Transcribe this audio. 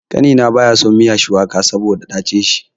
Ƙanina baya son miya shuwaka saboda dacin shi.